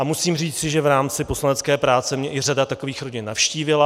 A musím říci, že v rámci poslanecké práce mě i řada takových rodin navštívila.